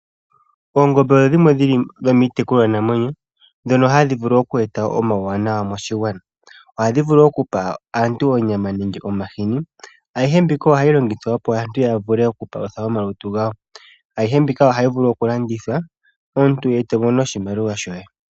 Oongombe odho iitekulwa namwenyo ndhono hadhi vulu oku eta omawuwanawa moshigwana . Ohadhi vulu oku pa aantu onyama nenge omahini. Ayihe mbika ohayi longithwa opo aantu ya vule oku palutha omalutu gawo. Ayihe mbika ohayi vulu oku landithwa omuntu eto mono oshimaliwa shoye.